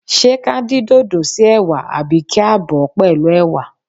Ṣé ka dín dòdò si ẹwà àbí kí a bọ̀ ọ́ pẹ̀lú ẹwà?